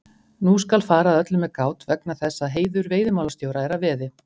Nú skal fara að öllu með gát vegna þess að heiður veiðimálastjóra er að veði.